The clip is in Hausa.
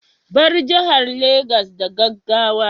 Bar jihar Legas da gaggawa